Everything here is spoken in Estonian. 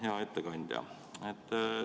Hea ettekandja!